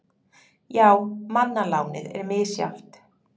Já, manna lánið er misjafnt.